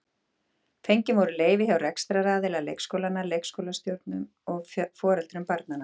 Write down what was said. Fengin voru leyfi hjá rekstraraðila leikskólanna, leikskólastjórum og foreldrum barnanna.